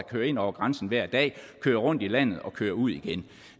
kører ind over grænsen hver dag kører rundt i landet og kører ud igen